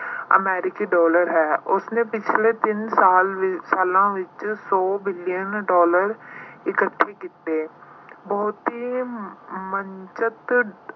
American dollar ਹੈ। ਉਸਨੇ ਪਿਛਲੇ ਤਿੰਨ ਸਾਲ ਅਹ ਸਾਲਾਂ ਵਿੱਚ ਸੌ billion dollar ਇਕੱਠੇ ਕੀਤੇ। ਬਹੁਤੀ